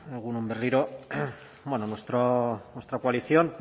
egun on berriro bueno nuestra coalición